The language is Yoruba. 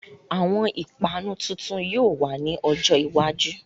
Àwọn ìpanu tuntun yóò wá ní ọjọ́ iwájú